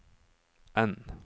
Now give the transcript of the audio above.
N